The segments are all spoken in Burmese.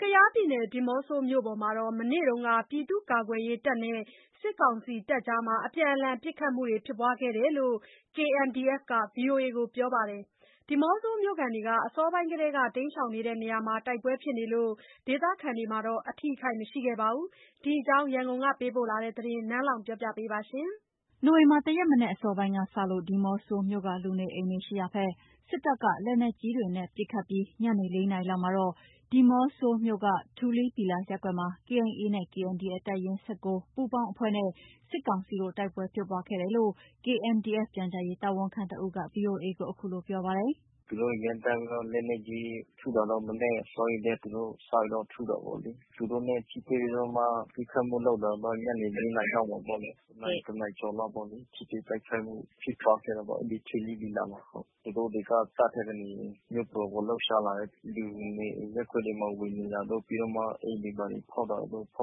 ကယားပြည်နယ် ဒီးမော့ဆိုမြို့ပေါ်မှာ မနေ့က ပြည်သူ့ကာကွယ်ရေးတပ်နဲ့ စစ်ကောင်စီအကြား အပြန်အလှန်ပစ်ခတ်မှု ဖြစ်ပွားခဲ့တယ်လို့ KNDF က VOA ကိုပြောပါတယ်။ ဒီးမော့ဆိုမြို့ခံတွေ အစောပိုင်းကတည်းက တိမ်းရှောင်နေတဲ့နေရာမှာ တိုက်ပွဲဖြစ်နေပေမယ့် ဒေသခံတွေတော့ အထိအခိုက် မရှိခဲ့ပါဘူး။ ဒီအကြောင်းရန်ကုန်ကပေးပို့ထားတဲ့သတင်း နန်းလောဝ်က တင်ပြပေးထားပါတယ်။ နိုဝင်ဘာ ၁ ရက် မနက်အစောပိုင်းကစလို့ ဒီးမော့ဆိုမြို့က လူနေအိမ်တွေရှိရာဘက် စစ်တပ်က လက်နက်ကြီးတွေနဲ့ ပစ်ခတ်မှုတွေလုပ်ခဲ့ပြီး ညနေ ၄ နာရီလောက်မှာတော့ ဒီးမော့ဆိုမြို့ ထူလွီး ဘီလာရပ်ကွက်မှာ KA နဲ့ KNDF တပ်ရင်း ၁၉ ပူးပေါင်းအဖွဲ့နဲ့ စစ်ကောင်စီတို့ တိုက်ပွဲဖြစ်ပွားခဲ့တယ်လို့ KNDF ပြန်ကြားရေးတာဝန်ခံတဦးက VOA ကို အခုလို ပြောပါတယ်။ “သူတို့တွေ ရမ်းသမ်းပြီးတော့ လက်နက်ကြီးထုတာတော့ မနက်အစောကြီးကတည်းက။ သူတို့စပြီး ထုတယ်ပေ့ါလေး။ သူတို့နဲ့ထိတွေ့ပြီးတော့မှ ပစ်ခတ်မှုလုပ်တာ ညနေပိုင်း ၄ နာရီလောက်မှာပေါ့လေး။ တနာရီ တနာရီကျော်လောက်ပေါ့၊ ထိတွေ့တိုက်ခိုက်မှုဖြစ်ပွားခဲ့တာပေါ့။ အဲ့ဒီထူလွီးဘီလာ မှာ ဟုတ်၊ သူတို့တွေက တပ်ထဲကနေမြို့ပေါ်ကို လှုပ်ရှားလာတယ်။ လူနေအိမ်ရပ်ကွက်တွေမှာ ဝင်နေတာတို့၊ ပြီးတော့ အိမ်တွေမှာ ဖောက်တာတို့၊ ပ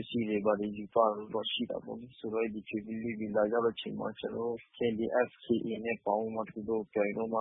စ္စည်းတွေ ဘာတွေ ယူသွားတာတို့ရှိတာပေါ့လေး။ ဆိုတော့ အဲ့ဒီထူလွီးဘီလာရောက်တဲ့အချိန်မှာ ကျနော်တို့ KNDF ၊ KA နဲ့ ပေါင်းပြီးတော့မှ သူတို့ကို ပြန်ပြီးတော့မှ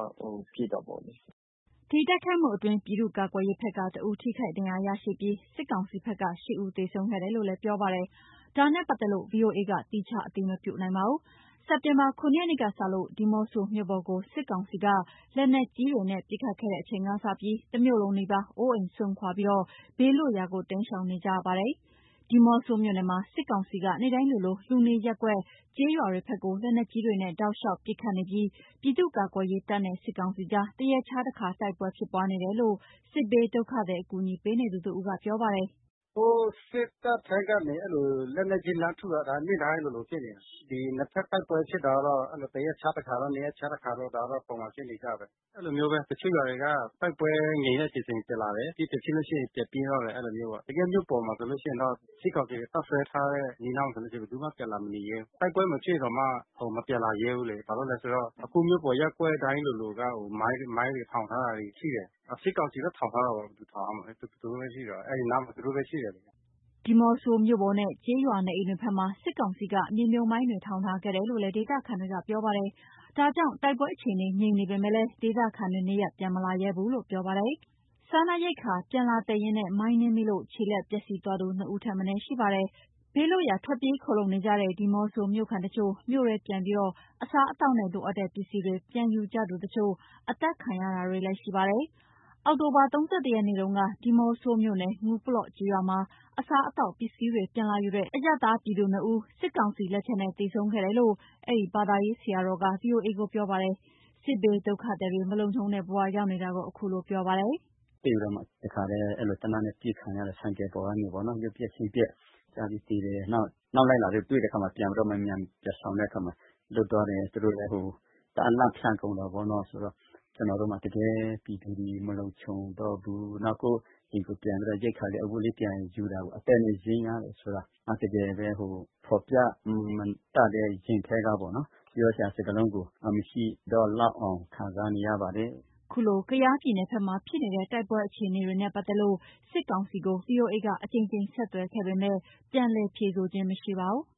ပစ်တာပေ့ါလေး။” ဒီတိုက်ခိုက်မှုအတွင်း ပြည်သူ့ကာကွယ်ရေးဘက်က တဦးထိခိုက်ဒဏ်ရာရရှိပြီး စစ်ကောင်စီဘက် က ၈ ဦး သေဆုံးခဲ့တယ်လို့ ပြောပါတယ်။ ဒါနဲ့ပတ်သက်လို့ VOA က သီးခြားအတည်မပြုနိုင်ပါဘူး။ စက်တင်ဘာ ၇ ရက်နေ့ကစလို့ ဒီးမော့ဆိုမြို့ပေါ်ကို စစ်ကောင်စီက လက်နက်ကြီးနဲ့ ပစ်ခတ်မှုတွေလုပ်ခဲ့ချိန်ကတည်းက တမြို့လုံးနီးပါး အိုးအိမ်စွန့်ခွာ ဘေးထွက်ရာကို တိမ်းရှောင်နေကြရတာဖြစ်ပါတယ်။ ဒီးမော့ဆိုမြို့နယ်မှာ စစ်ကောင်စီက နေ့တိုင်းလိုလို လူနေရပ်ကွက် ကျေးရွာဘက်ကို လက်နက်ကြီးတွေနဲ့ တောက်လေ ျှာက်ပစ်ခတ်မှုတွေလုပ်နေပြီး ပြည်သူ့ကာကွယ်ရေးတပ်နဲ့ စစ်ကောင်စီအကြား တရက်ခြားတခါ တိုက်ပွဲဖြစ်ပွားနေတယ်လို့ စစ်ဘေးဒုက္ခသည် အကူအညီပေးသူတဦးက ပြောပါတယ်။ “ဟိုစစ်တပ်ထဲကနေ အဲ့လို လက်နက်ကြီးလှမ်းထုတာ ဒီနေ့တိုင်းလိုလိုဖြစ်နေတယ်၊ ဒီနှစ်ဘက်တိုက်ပွဲဖြစ်တာတော့ အဲ့လို တရက်ခြားတခါ၊ နှစ်ရက်ခြားတခါ။ ဒါတော့ ပုံမှန်ဖြစ်နေကျပဲ၊ အဲ့လိုမျိုးပဲ တချို့ရွာတွေက တိုက်ပွဲငြိမ်တဲ့အချိန်ဆိုရင် ပြန်လာတယ်။ ပြန်ဖြစ်လို့ရှိရင် ပြန်ပြေးသွားတယ်၊ အဲ့လိုမျိုးပေါ့၊ တကယ်မြို့ပေါ်မှာဆိုလို့ရှိရင်တော့ စစ်ကောင်စီတပ်စွဲထားတဲ့ အနီးအနားမှာဆိုလို့ရှိရင် ဘယ်သူမှပြန်လာမနေရဲဘူး။ တိုက်ပွဲမဖြစ်ရင်တောင်မှ ဟို… မပြန်လာရဲဘူးလေး။ ဘာလို့လဲဆိုတော့ အခုမြို့ပေါ်ရပ်ကွက်တိုင်းလိုလိုက မိုင်းတွေထောင်ထားတာတွေ ရှိတယ်။ အော် စစ်ကောင်စီပဲ ထောင်ထားတာပေါ့။ ဘယ်သူထောင်ရမှာလဲ။ သူတို့ပဲရှိတာ။ အဲ့ဒီနားမှာ သူတို့ပဲရှိတယ်လေး။” ဒီးမော့ဆိုမြို့ပေါ်နဲ့ ကျေးရွာနေအိမ်တွေဘက်မှာ စစ်ကောင်စီက မြေမြှုပ်မိုင်းတွေ ထောင်ထားခဲ့တယ်လို့လည်း ဒေသခံတွေက ပြောပါတယ်။ ဒါကြောင့်တိုက်ပွဲအခြေအနေငြိမ်နေပေမယ့်လည်း ဒေသခံတွေ နေရပ်ပြန်မလာရဲဘူးလို့ ပြောပါတယ်။ စားနပ်ရိက္ခာပြန်လာသယ်ရင်း မိုင်နင်းမိလို့ ခြေလက်ပျက်စီးသွားသူ နှစ်ဦးထက်မနည်း ရှိနေပါတယ်။ ဘေးလွတ်ရာ ထွက်ပြေးခိုလှုံနေကြတဲ့ ဒီးမော့ဆိုမြို့ခံတချို့ မြို့ထဲပြန်ပြီး အစားအသောက်နဲ့ လိုအပ်တဲ့ပစ္စည်းတွေ ပြန်ယူကြသူတချို့ အသတ်ခံရတာတွေလည်းရှိပါတယ်။ အောက်တိုဘာ ၃၁ ရက်နေ့တုန်းက ဒီးမော့ဆိုမြို့ နယ် ငူးပလော့ကျေးရွာမှာ အစားအသောက်ပစ္စည်းတွေ ပြန်လာယူတဲ့ အရပ်သားပြည်သူနှစ်ဦးကိုစစ်ကောင်စီလက်ချက်နဲ့ သေဆုံးခဲ့တယ်လို့အဲ့ဒီ ဘာသာရေးဆရာတော်က VOA ကို ပြောပါတယ်။ စစ်ဘေး ဒုက္ခသည်တွေ မလုံခြုံတဲ့ ဘဝရောက်နေတာကို ခုလိုပြောပြပါတယ်။ “တွေ့ပြီးတော့ တခါတည်း အဲ့လို သေနတ်နဲ့ အပစ်ခံရတယ်။ ဆိုင်ကယ်ပေါ်ကနေပေါ့နော် ရုပ်ပျက်ဆင်းပျက်ကျပြီးသေတယ်။ နောက် အနောက်လိုက်လာတဲ့ တွေ့တဲ့အခါမှာ ပြန်ပြီးတော့မှ အမြန်ပြန်ရှောင်တဲ့အခါမှာ လွတ်သွားတယ်။ သူတို့လည်း တအား လန့်ဖျပ်ကုန်တာပေါ့နော်၊ ဆိုတော့ ကျနော်တို့မှာ တကယ်ပြည်သူတွေ မလုံခြုံတော့ဘူး၊ နောက် ကိုယ့်ကိုယ်ပြန်ပြီးတော့ ရိက္ခာလေး အဝတ်လေး ပြန်ယူတာကိုး အသက်နဲ့ရင်းရတယ်ဆိုတာ တကယ်ပဲ ဟို… ဖော်ပြမတတ်တဲ့ ရင်ထဲကပေါ့နော် ပြောစရာစကားလုံးကို မရှိတော့လောက်အောင် ခံစားနေရပါတယ်။” ခုလိုကယားပြည်နယ်ဘက်မှာ ဖြစ်နေတဲ့ တိုက်ပွဲတွေနဲ့ အခြေအနေတွေနဲ့ပတ်သက်လို့ စစ်ကောင်စီကို ဗွီအိုအေက အကြိမ်ကြိမ် ဆက်သွယ်ခဲ့ပေမဲ့ ပြန်လည်ဖြေဆိုခြင်း မရှိခဲ့ပါဘူး။